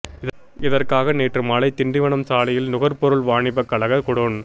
இதற்காக நேற்று மாலை திண்டிவனம் சாலையில் நுகர்பொருள் வாணிபக் கழக குடோன்